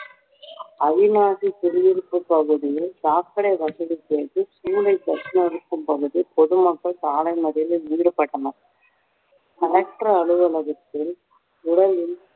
அவிநாசி குடியிருப்பு பகுதியில் சாக்கடை வசதி கேட்டு bus நிறுத்தம் பகுதி பொதுமக்கள் சாலை மறியலில் ஈடுபட்டனர் அலுவலகத்தில் உடலில்